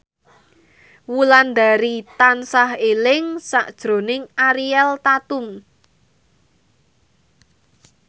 Wulandari tansah eling sakjroning Ariel Tatum